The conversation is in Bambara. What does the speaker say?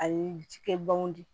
A ye cikɛ ban de